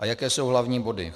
A jaké jsou hlavní body?